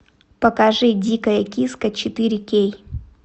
покажи дикая киска четыре кей